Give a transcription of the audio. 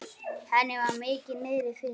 Henni var mikið niðri fyrir.